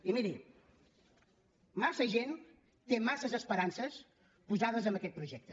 i miri massa gent té massa esperances posades en aquest projecte